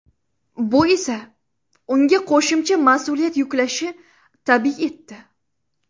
Bu esa unga qo‘shimcha mas’uliyat yuklashi tabiiy etdi.